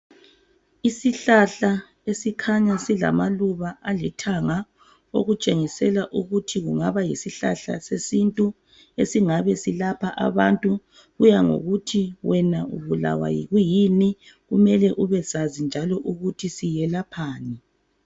Isihlahla esikhanya silamaluba alithanga okutshengisela ukuthi kungaba yisihlahla sesintu esingabe silapha abantu. Kuya ngokuthi wena ubulawa yikwiyini. Kumele ubesazi njalo ukuthi selaphani.